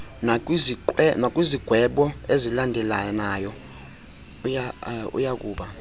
nakwizigwebo ezilandelelanayo uyakuba